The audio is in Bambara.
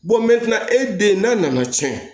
e den n'a nana tiɲɛ